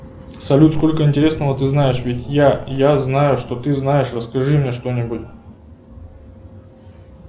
салют сколько интересного ты знаешь ведь я я знаю что ты знаешь расскажи мне что нибудь